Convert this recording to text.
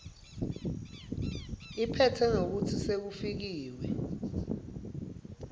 iphetse ngekutsi sekufikiwe